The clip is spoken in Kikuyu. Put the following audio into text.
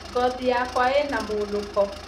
Ngothi yakwa ina mũnũko